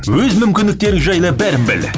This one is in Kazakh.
өз мүмкіндіктерің жайлы бәрін біл